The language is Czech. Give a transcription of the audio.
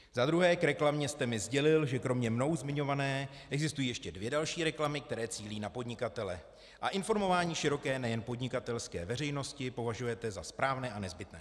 Za druhé, k reklamě jste mi sdělil, že kromě mnou zmiňované existují ještě dvě další reklamy, které cílí na podnikatele a informování široké, nejen podnikatelské veřejnosti považujete za správné a nezbytné.